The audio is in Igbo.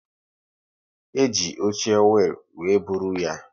E ji oche wiil were bụrụ ya